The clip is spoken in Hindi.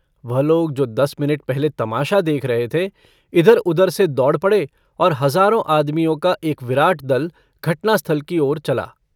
वह लोग जो दस मिनट पहले तमाशा देख रहे थे इधरउधर से दौड़ पड़े और हजारों आदमियों का एक विराट दल घटनास्थल की ओर चला।